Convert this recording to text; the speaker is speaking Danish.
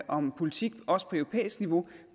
om politik også på europæisk niveau